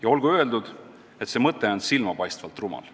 Ja olgu öeldud, et see mõte on ka silmapaistvalt rumal.